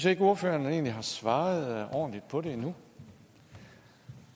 ikke ordføreren har svaret ordentligt på det endnu